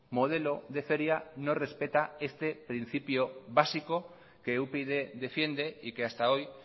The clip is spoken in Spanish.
modelo de feria no respeta este principio básico que upyd defiende y que hasta hoy